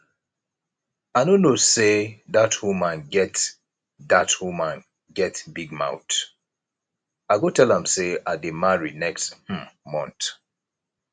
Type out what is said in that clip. i no know say dat woman get dat woman get big mouth i go tell am say i dey marry next um month